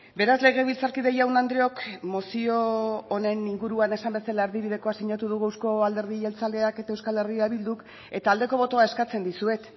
beraz legebiltzarkide jaun andreok mozio honen inguruan esan bezala erdibidekoa sinatu dugu euzko alderdi jeltzaleak eta euskal herria bilduk eta aldeko botoa eskatzen dizuet